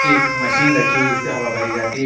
एक मशीन रखी हुई है जिससे हवा भरी जाती है।